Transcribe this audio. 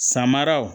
Samaraw